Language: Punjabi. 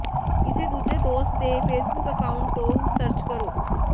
ਕਿਸੇ ਦੂਜੇ ਦੋਸਤ ਦੇ ਫੇਸਬੁੱਕ ਅਕਾਊਂਟ ਤੋਂ ਸਰਚ ਕਰੋ